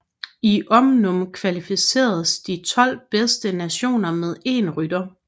I omnium kvalificeres de 12 bedste nationer med én rytter